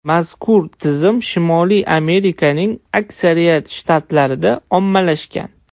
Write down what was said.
Mazkur tizim Shimoliy Amerikaning aksariyat shtatlarida ommalashgan.